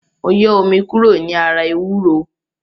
Mo yọ omi kúrò ní ara ewúro